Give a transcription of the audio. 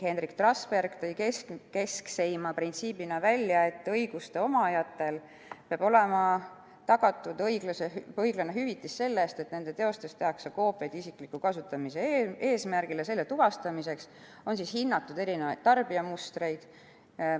Henrik Trasberg tõi keskseima printsiibina esile, et õiguste omajatele peab olema tagatud õiglane hüvitis selle eest, et nende teostest tehakse koopiaid isikliku kasutamise eesmärgil, ja selle tuvastamiseks on hinnatud erinevaid tarbijamustreid.